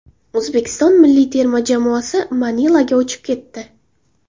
O‘zbekiston milliy terma jamoasi Manilaga uchib ketdi.